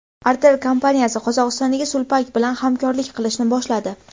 Artel kompaniyasi Qozog‘istondagi Sulpak bilan hamkorlik qilishni boshladi.